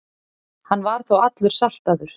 Hann var þá allur saltaður.